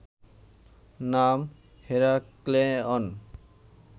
নাম হেরাক্লেয়ন